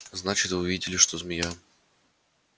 значит вы видели что змея